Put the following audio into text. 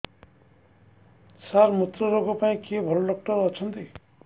ସାର ମୁତ୍ରରୋଗ ପାଇଁ କିଏ ଭଲ ଡକ୍ଟର ଅଛନ୍ତି